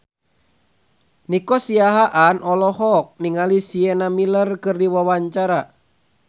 Nico Siahaan olohok ningali Sienna Miller keur diwawancara